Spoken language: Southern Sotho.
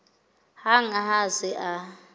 hang ha a se a